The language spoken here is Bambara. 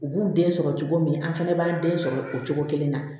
U b'u den sɔrɔ cogo min an fɛnɛ b'an den sɔrɔ o cogo kelen na